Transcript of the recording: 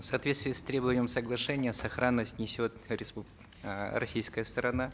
в соответствии с требованием соглашения сохранность несет э российская сторона